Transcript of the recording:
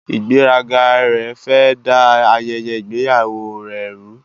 Ìgbéraga rẹ̀ fẹ́ ẹ̀ da ayẹyẹ ìgbéyàwó rẹ rú.